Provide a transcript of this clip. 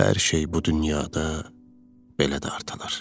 Hər şey bu dünyada belə dartılır.